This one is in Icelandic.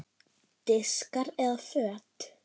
Diskar eða föt?